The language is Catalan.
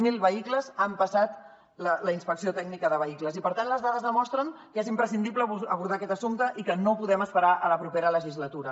zero vehicles han passat la inspecció tècnica de vehicles i per tant les dades demostren que és imprescindible abordar aquest assumpte i que no podem esperar fins a la propera legislatura